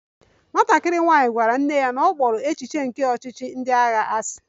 Nwatakịrị nwanyị gwara nne ya na ọ kpọrọ echiche nke ọchịchị ndị agha asị